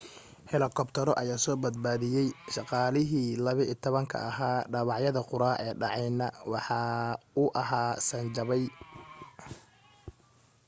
helikabtaro ayaa soo badbaadiyay shaqaalihii 12 ka ahaa dhaawaca qura ee dhacayna waxa uu ahaa san jabay